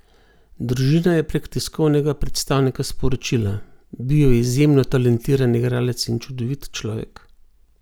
Družina je prek tiskovnega predstavnika sporočila: "Bil je izjemno talentiran igralec in čudovit človek.